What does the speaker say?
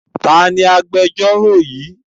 Ta ni agbẹjọ́rò yìí?